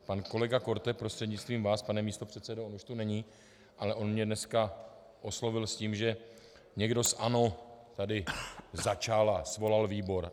Pan kolega Korte prostřednictvím vás, pane místopředsedo, on už tu není, ale on mě dneska oslovil s tím, že někdo z ANO tady začal a svolal výbor.